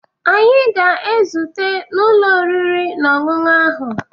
Anyị ga-ezute n'ụlọ oriri na ọṅụṅụ ahụ